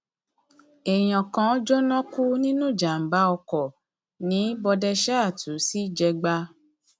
èèyàn kan jóná kú nínú ìjàmàbá ọkọ ní bọdẹṣáàtú sí jẹgba